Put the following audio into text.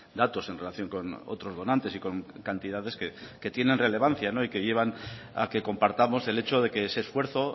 datos en relación con otros donantes y con cantidades que tienen relevancia y que llevan a que compartamos el hecho de que ese esfuerzo